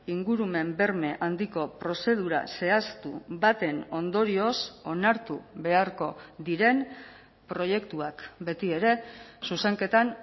ingurumen berme handiko prozedura zehaztu baten ondorioz onartu beharko diren proiektuak betiere zuzenketan